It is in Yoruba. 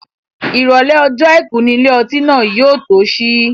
Ìrọ̀lẹ́ ọjọ́ àìkú ni ilé ọtí náà yóò tó sí.